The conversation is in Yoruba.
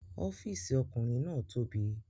Ọ́fìsì ọkùnrin náà tóbi